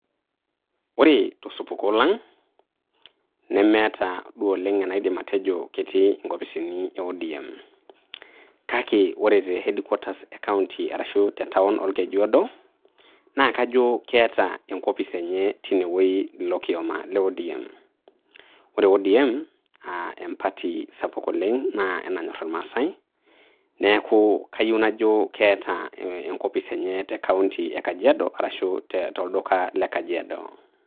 Ore to supuko lang nemeeta duo oleng enaidim atejo ketii nkopisini e ODM. Kake ore te headquarters e kaunti arashu te town olkejuado, naa kajo keeta enkopis enye tine wueji ilo kioma le ODM. Ore ODM aa e party sapuk oleng naa enanyorr ilmaasai. Niaku kayieu najo keeta enkopis enye te kaunti e Kajiado arashu to lduka le Kajiado.